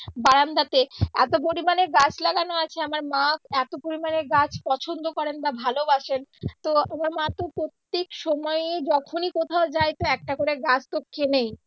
বারান্দাতে এতো পরিমানে গাছ লাগানো আছে আমার মা এতো পরিমানে গাছ পছন্দ করেন বা ভালোবাসেন তো আমার মাতো প্রত্যেক সময়ই যখনই কোথাও যায় তো একটা করে গাছ তো কিনেই।